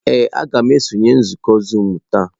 Ee, m ga-esonye na nzukọ zuumu taa.